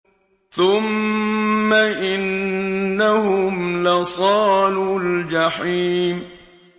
ثُمَّ إِنَّهُمْ لَصَالُو الْجَحِيمِ